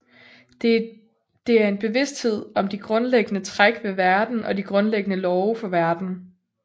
Det er en bevidsthed om de grundlæggende træk ved verden og de grundlæggende love for verden